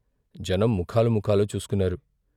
జనం ముఖాలు ముఖాలు చూసుకున్నారు.